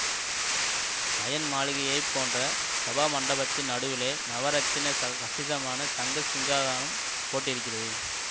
மயன் மாளிகையை போன்ற சபாமண்டபத்தின் நடுவிலே நவரத்தின கசிதமான தங்கச் சிங்காதானம் போட்டிருக்கிறது